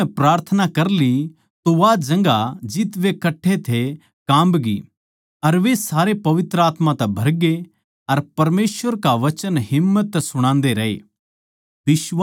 जिब उननै प्रार्थना कर ली तो वा जगहां जित वे कट्ठे थे काम्बगी अर वे सारे पवित्र आत्मा तै भरगे अर परमेसवर का वचन हिम्मत तै सुणान्दे रए